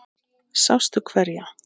Sástu hverja?